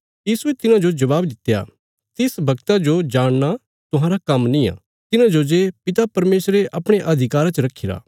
यीशुये तिन्हांजो जबाब दित्या तिस बगता जो जाणना तुहांरा काम्म निआं तिन्हांजो जे पिता परमेशरे अपणे अधिकारा च रखीरा